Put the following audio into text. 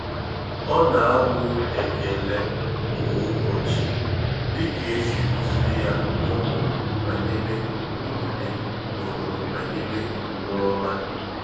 Ọ na-amụ ekele kwa ụbọchị dịka esi kuziri ya n’omụmụ banyere omume n’omụmụ banyere omume ọma